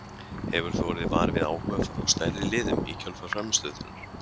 Hefur þú orðið var við áhuga frá stærri liðum í kjölfar frammistöðu þinnar?